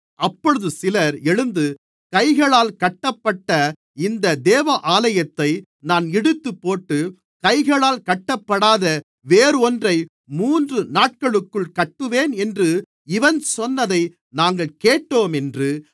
அப்பொழுது சிலர் எழுந்து கைகளால் கட்டப்பட்ட இந்த தேவாலயத்தை நான் இடித்துப்போட்டு கைகளால் கட்டப்படாத வேறொன்றை மூன்று நாட்களுக்குள் கட்டுவேன் என்று இவன் சொன்னதை நாங்கள் கேட்டோம் என்று